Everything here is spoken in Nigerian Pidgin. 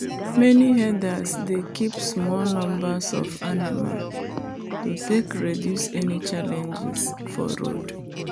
many herders dey keep small numbers of animal to take reduce any challenges for road.